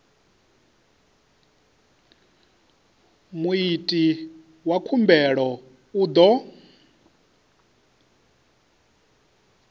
muiti wa khumbelo u ḓo